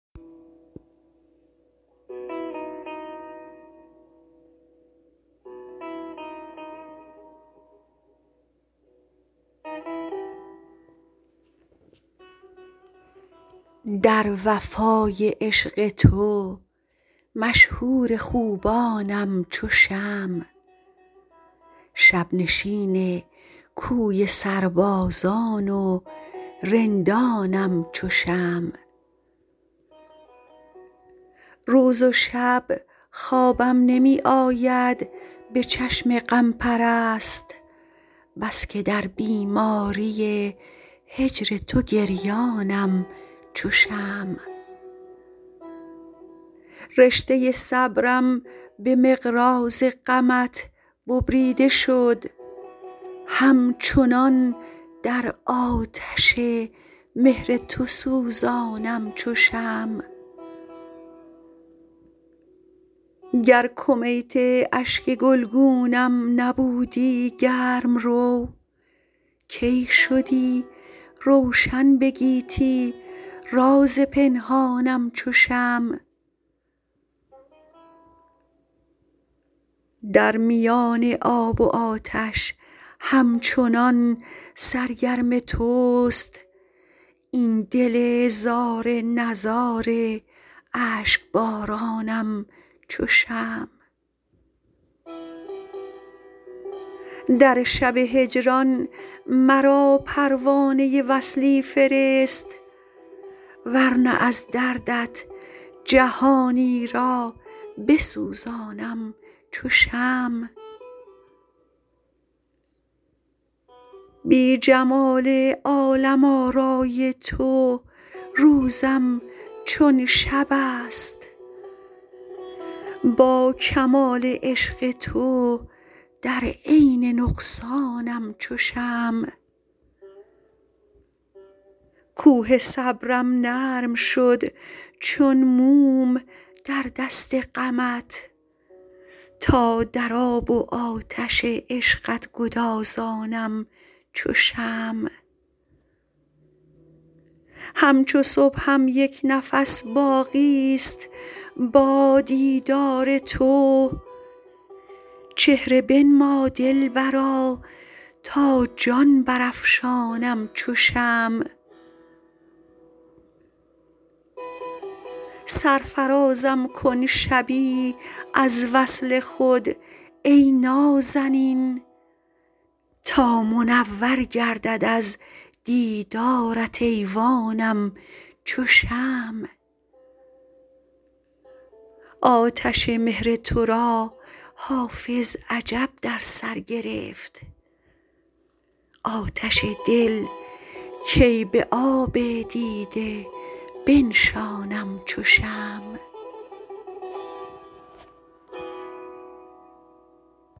در وفای عشق تو مشهور خوبانم چو شمع شب نشین کوی سربازان و رندانم چو شمع روز و شب خوابم نمی آید به چشم غم پرست بس که در بیماری هجر تو گریانم چو شمع رشته صبرم به مقراض غمت ببریده شد همچنان در آتش مهر تو سوزانم چو شمع گر کمیت اشک گلگونم نبودی گرم رو کی شدی روشن به گیتی راز پنهانم چو شمع در میان آب و آتش همچنان سرگرم توست این دل زار نزار اشک بارانم چو شمع در شب هجران مرا پروانه وصلی فرست ور نه از دردت جهانی را بسوزانم چو شمع بی جمال عالم آرای تو روزم چون شب است با کمال عشق تو در عین نقصانم چو شمع کوه صبرم نرم شد چون موم در دست غمت تا در آب و آتش عشقت گدازانم چو شمع همچو صبحم یک نفس باقی ست با دیدار تو چهره بنما دلبرا تا جان برافشانم چو شمع سرفرازم کن شبی از وصل خود ای نازنین تا منور گردد از دیدارت ایوانم چو شمع آتش مهر تو را حافظ عجب در سر گرفت آتش دل کی به آب دیده بنشانم چو شمع